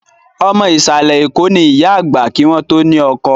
Ọmọ Ìsàlẹ̀ Eko ni ìyá àgbà kí wọn to ni ọkọ